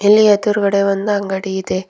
ಇಲ್ಲಿ ಎದುರುಗಡೆ ಒಂದು ಅಂಗಡಿ ಇದೆ.